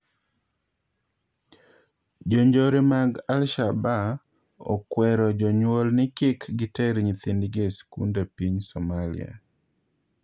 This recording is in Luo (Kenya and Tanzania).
Jonjore mag Alshaaba okwero jonyuol ni kik giter nyithindgi e sikunde epiny Somalia